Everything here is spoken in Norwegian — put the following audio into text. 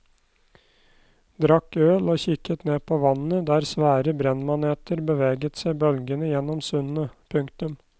Drakk øl og kikket ned på vannet der svære brennmaneter beveget seg bølgende gjennom sundet. punktum